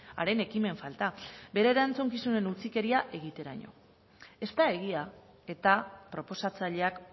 haren ekimen falta bere erantzukizunen utzikeria egiteraino ez da egia eta proposatzaileak